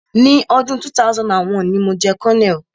Ni ọdún 2001, ni mo jẹ́ colonel.